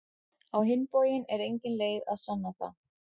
Á hinn bóginn er engin leið að sanna það.